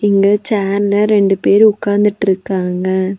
இங்க சேர்ல ரெண்டு பேர் உக்காந்துட்டுருக்காங்க.